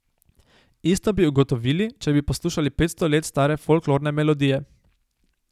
Isto bi ugotovili, če bi poslušali petsto let stare folklorne melodije.